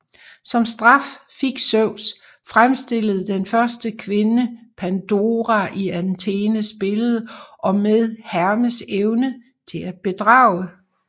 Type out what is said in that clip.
Som straf fik Zeus fremstillet den første kvinde Pandora i Athenes billede og med Hermes evne til at bedrage